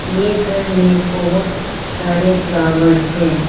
ये घर में बहोत सारे फ्लावर्स है।